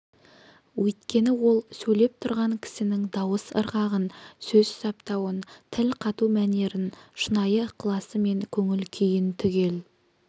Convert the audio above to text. өйткені ол сөйлеп тұрған кісінің дауыс ырғағын сөз саптауын тіл қату мәнерін шынайы ықыласы мен көңіл күйін түгел